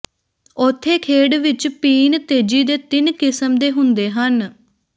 ਉੱਥੇ ਖੇਡ ਵਿੱਚ ਪੀਣ ਤੇਜੀ ਦੇ ਤਿੰਨ ਕਿਸਮ ਦੇ ਹੁੰਦੇ ਹਨ